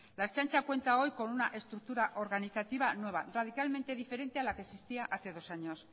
la ertzaintza cuenta hoy con una estructura organizativa nueva radicalmente diferente a la que existía hace dos años